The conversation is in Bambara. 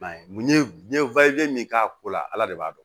n ye min k'a ko la ala de b'a dɔn